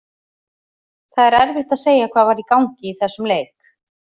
Það er erfitt að segja hvað var í gangi í þessum leik.